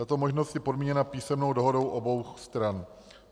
Tato možnost je podmíněna písemnou dohodou obou stran.